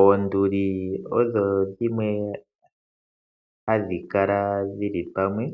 Oonduli odho dhimwe hadhi kala dhili pamwe,